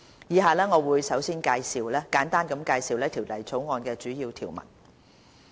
以下我會簡單介紹《條例草案》的主要條文。